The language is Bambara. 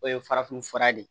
O ye farafin fura de ye